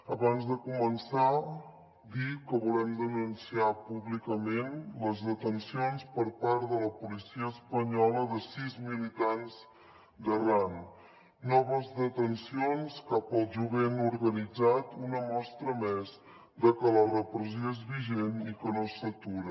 abans de començar dir que volem denunciar públicament les detencions per part de la policia espanyola de sis militants d’arran noves detencions cap al jovent organitzat una mostra més de que la repressió és vigent i que no s’atura